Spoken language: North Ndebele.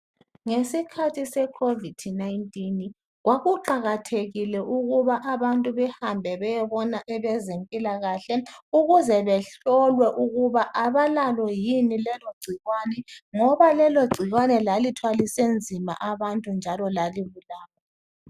Ngdsikhathi se covid 19 kwakuqakathekile ukuthi abantu behambe beyebona abazempilakahle ukuze behlolwe ukuthi abalalo yini lelo gcikwane ngoba lelo cikwane lali thwalise nzima abantu njalo lali bulala